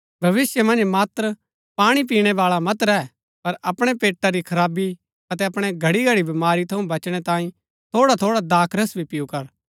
भविष्‍य मन्ज मात्र पाणी पीणै बाळा मत रैह पर अपणै पेटा री खराबी अतै अपणै घड़ीघड़ी बमारी थऊँ बचणै तांई थोड़ाथोड़ा दाखरस भी पिऊ कर